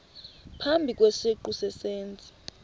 phambi kwesiqu sezenzi